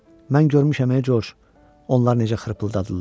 Mən görmüşəm Coş, onlar necə xırpıldadırlar.